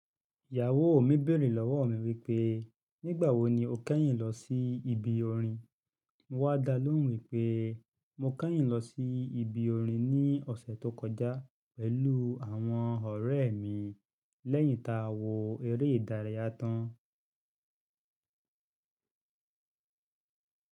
Ìyàwó mi béèrè lọ́wọ́ mi wípé, "Nígbà wo ni o kẹ́yìn lọ sí ibi orin?" Mo wá da lóhùn wípé, "Mo kẹ́yìn lọ sí ibi orin ní ọ̀sẹ̀ tó kọjá pẹ̀lú àwọn ọ̀rẹ́ mi lẹ́yìn tá a wo eré ìdárayá tán.